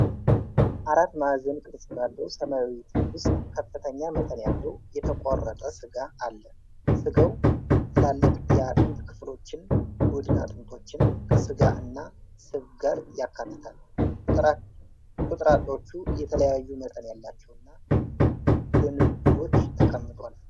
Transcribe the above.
አራት ማዕዘን ቅርጽ ባለው ሰማያዊ ትሪ ውስጥ ከፍተኛ መጠን ያለው የተቆረጠ ስጋ አለ። ስጋው ትላልቅ የአጥንት ክፍሎችን (ጎድን አጥንቶችን) ከስጋ እና ስብ ጋር ያካትታል። ቁርጥራጮቹ የተለያዩ መጠን ያላቸውና በንብርብሮች ተቀምጧል።